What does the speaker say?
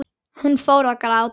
Hún fór að gráta.